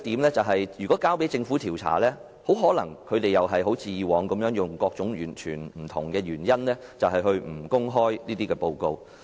再者，如果交由政府調查，政府很可能像以往一樣用各種原因，不公開報告。